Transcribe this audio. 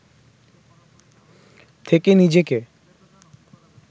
থেকে নিজেকে